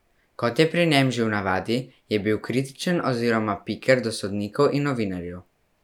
Kot je pri njem že v navadi, je bil kritičen oziroma piker do sodnikov in novinarjev.